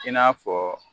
I n'a fɔ